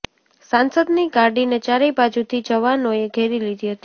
સાંસદની ગાડીને ચારેય બાજુથી જવાનોએ ઘેરી લીધી હતી